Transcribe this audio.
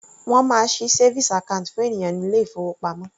Wọ́n máa ṣí savings account fún ènìyàn ní ilé ìfowópamọ́.